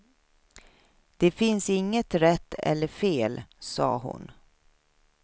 Det finns inget rätt eller fel, sade hon.